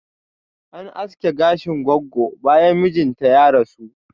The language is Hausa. An aske gashin goggo bayan mijinta ya rasu